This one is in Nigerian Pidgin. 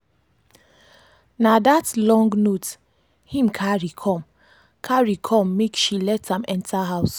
na that long note him carry come carry come make she let am enter house.